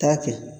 Taa kɛ